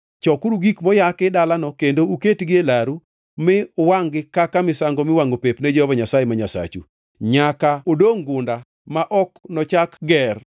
Chokuru gik moyaki dalano kendo uketgi e laru mi uwangʼ-gi kaka misango miwangʼo pep ne Jehova Nyasaye ma Nyasachu. Nyaka odongʼ gunda ma ok nochak ger.